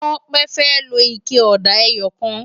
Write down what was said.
Tope fè ló iké òdá èyòkán